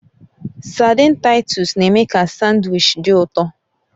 Saidin Taitus na-eme ka sandwichi dị ụtọ